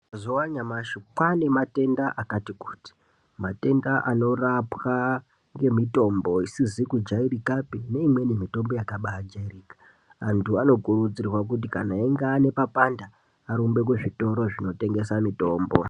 Mazuva anyamashi kwane matenda akati kuti matenda anorapa nemitombo isizi kujairikapi neimweni mitombo yakaba jairika antu anokurudzirwa kuti kana einge ane papanda arumbe kuzvitoro zvotengesa mitombo.